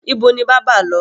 Ibo ni bábà lọ?